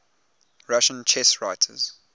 russian chess writers